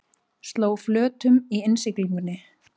Sló flötum í innsiglingunni